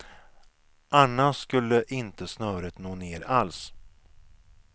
Annars skulle inte snöret nå ner alls.